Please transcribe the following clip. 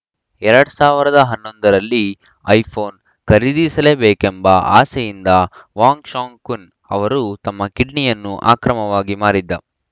ಎರಡ್ ಸಾವಿರದ ಹನ್ನೊಂದ ರಲ್ಲಿ ಐಫೋನ್‌ ಖರೀದಿಸಲೇಬೇಕೆಂಬ ಆಸೆಯಿಂದ ವಾಂಗ್‌ ಶಾಂಗ್‌ಕುನ್‌ ಅವರು ತಮ್ಮ ಕಿಡ್ನಿಯನ್ನು ಅಕ್ರಮವಾಗಿ ಮಾರಿದ್ದ